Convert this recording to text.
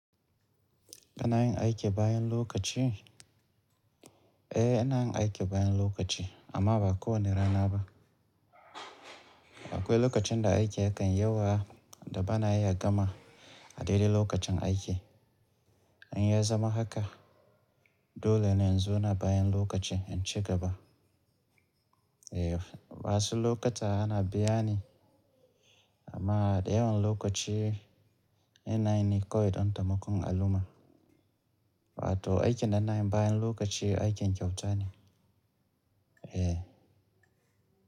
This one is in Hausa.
Kana yin aiki bayan lokaci? Eh, ina yin aiki bayan lokaci amma ba kowane rana ba. Akwai lokacin da aiki yakan yawa da ba na iya gama a daidai lokacin aiki. In ya zama haka dole ne in zauna bayan lokaci in ci gaba. Eh, wasu lokuta ana biya ni amma da yawan lokaci ina yi ne kawai don taimakon al'umma. Wato aikin da na yi bayan lokaci aikin kyautane. Eh.